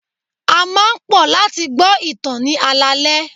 A máa ń pò láti gbo ìtàn ní alaale.